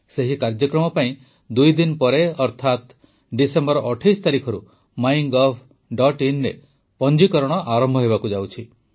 ସେହି କାର୍ଯ୍ୟକ୍ରମ ପାଇଁ ଦୁଇ ଦିନ ପରେ ଅର୍ଥାତ ଡିସେମ୍ବର ୨୮ ତାରିଖରୁ MyGovinରେ ପଞ୍ଜିକରଣ ଆରମ୍ଭ ହେବାକୁ ଯାଉଛି